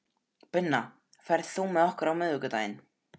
Binna, ferð þú með okkur á miðvikudaginn?